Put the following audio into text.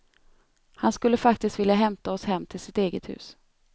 Han skulle faktiskt vilja hämta oss hem till sitt eget hus.